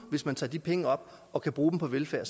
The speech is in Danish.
hvis man tager de penge op og kan bruge dem på velfærd